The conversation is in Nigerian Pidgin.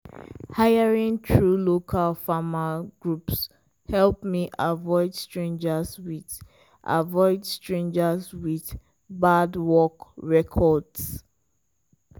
hiring through local farmer groups help me avoid strangers with avoid strangers with bad work records.